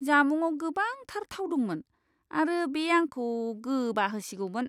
जामुङाव गोबांथार थाव दंमोन आरो बे आंखौ गोबाहोसिगौमोन!